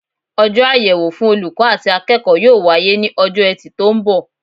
Ojó àyèwò fun olùkó àti akéèkó yóò wáyé ní ojó etì tó n bò